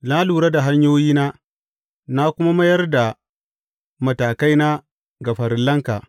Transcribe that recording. Na lura da hanyoyina na kuma mayar da matakaina ga farillanka.